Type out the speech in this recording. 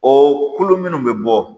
O kolo minnu bɛ bɔ